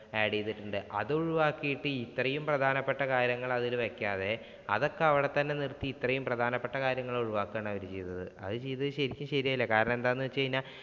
add ചെയ്തിട്ടുണ്ട്. അതൊഴിവാക്കീട്ടു ഇത് ഇത്രയും പ്രധാനപ്പെട്ട കാര്യങ്ങൾ അതില് വെയ്ക്കാതെ അതൊക്കെ അവിടെ തന്നെ നിര്‍ത്തി അത്രയും പ്രധാനപ്പെട്ട കാര്യങ്ങൾ അവർ ഒഴിവാക്കുകയാണ് ചെയ്തത്. അത് ചെയ്തു ശരിക്കും ശരിയായില്ല. കാരണം എന്താണെന്ന് വെച്ചുകഴിഞ്ഞാൽ